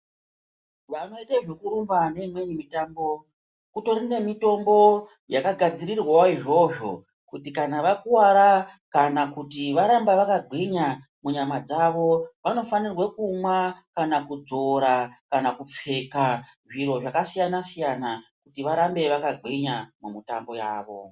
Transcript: Vanoite zvekurumba neimweni mitambo kutori nemitombo yakagadzirirwawo izvozvo kuti kana vakuwara kana kuti varambe vakagwinya munyama dzavo vanofanirwe kumwa kana kudzora kana kupfeke zviro zvakasiyana siyana kuti varambe vakagwinya mumitambo yavo.